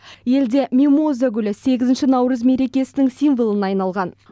елде мимоза гүлі сегізінші наурыз мерекесінің символына айналған